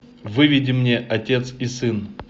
выведи мне отец и сын